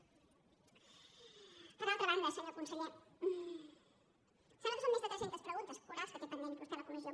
per altra banda senyor conseller em sembla que són més de tres centes preguntes orals que té pendents vostè a la comissió